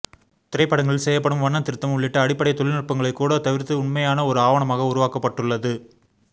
திரைப்படங்களில் செய்யப்படும் வண்ண திருத்தம் உள்ளிட்ட அடிப்படை தொழில்நுட்பங்களை கூட தவிர்த்து உண்மையான ஒரு ஆவணமாக உருவாக்கப்பட்டுள்ளது